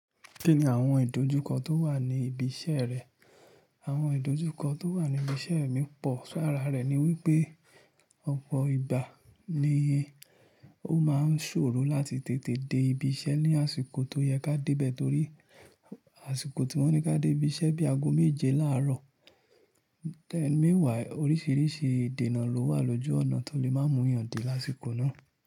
Kí ni àwọn ìdojúkọ tó wà ní ibi iṣẹ́ rẹ? Àwọn ìdojúkọ tó wà ní ibi iṣẹ́ mi pọ̀, so ara rẹ̀ ni wípé ọ̀pọ̀ ìgbà ni ó máa ń ṣòro láti tètè dé ibi iṣẹ́ ní àsìkò tó yẹ kí a dé bẹ̀ẹ́ torí àsìkò tí wọ́n ní kí á dé ibi iṣẹ́ bí i ago méje láàárọ̀. Tẹ́ẹ̀ mẹ́wàá oríṣiríṣi ìdènà ló wà lójú ọ̀nà tó lè má mú èèyàn dé lásìkò náà.